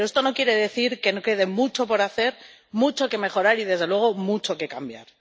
Pero esto no quiere decir que no quede mucho por hacer, mucho que mejorar y, desde luego, mucho que cambiar.